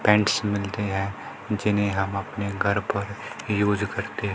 pants मिलते हैं जिन्हें हम अपने घर पर यूज करते--